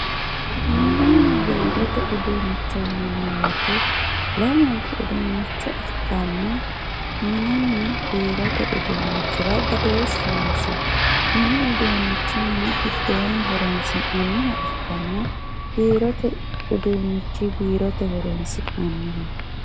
Minina biirote uduunivho yinani woyiite lamunku uduunicho ikkana lamunkurira badooshu noosi mini uduunichi mini gidooni horo`nsinayiha ikanna biirote udunichi biirote horon`sinaniho.